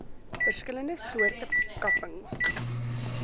verskillende soorte kapings